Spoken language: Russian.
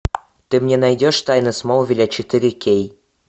ты мне найдешь тайны смолвиля четыре кей